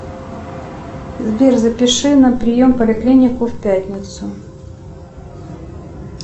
сбер запиши на прием в поликлинику в пятницу